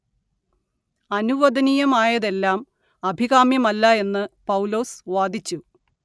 അനുവദനീയമായതെല്ലാം അഭികാമ്യമല്ല എന്ന് പൗലോസ് വാദിച്ചു